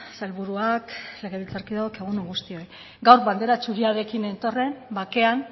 sailburuak legebiltzarkideok egun on guztioi gaur bandera zuriarekin nentorren bakean